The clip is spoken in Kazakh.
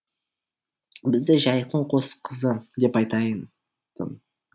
бізді жайықтың қос қызы деп айтайын